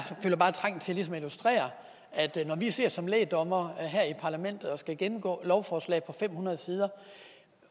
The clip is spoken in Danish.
føler bare trang til ligesom at illustrere at når vi sidder som lægdommere her i parlamentet og skal gennemgå et lovforslag på fem hundrede sider